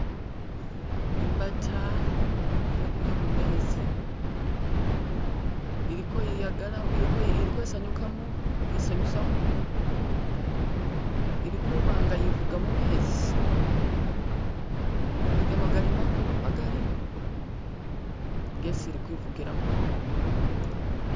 Imbata iye mumezi iliko yiyagala iliko isanyukamo yisanyusamo ili kubanga yivuga mumezi mezi gano gali makulu magali gesi ili kwivugilamu.